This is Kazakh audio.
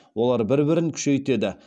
олар бір бірін күшейтеді